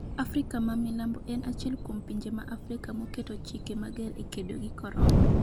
Afrika ma milambo en achiel kuom pinje ma Afrika moketo chike mager e kedo gi korona